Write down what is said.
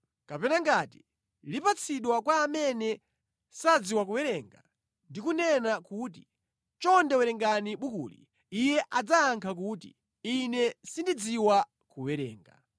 Kapena ngati lipatsidwa kwa amene sadziwa kuwerenga ndi kunena kuti, “Chonde werenga bukuli,” iye adzayankha kuti, “Ine sindidziwa kuwerenga.”